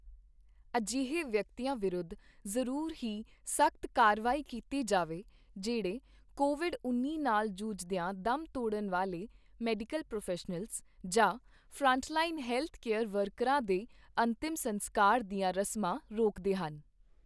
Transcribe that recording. ਅਜਿਹੇ ਵਿਅਕਤੀਆਂ ਵਿਰੁੱਧ ਜ਼ਰੂਰ ਹੀ ਸਖ਼ਤ ਕਾਰਵਾਈ ਕੀਤੀ ਜਾਵੇ, ਜਿਹੜੇ ਕੋਵਿਡ ਉੱਨੀ ਨਾਲ ਜੂਝਦੀਆਂ ਦਮ ਤੋੜਨ ਵਾਲੇ ਮੈਡੀਕਲ ਪ੍ਰੋਫ਼ੈਸ਼ਨਲਸ ਜਾਂ ਫਰੰਟਲਾਈਨ ਹੈਲਥ ਕੇਅਰ ਵਰਕਰਾਂ ਦੇ ਅੰਤਿਮ ਸਸਕਾਰ ਦੀਆਂ ਰਸਮਾਂ ਰੋਕਦੇ ਹਨ।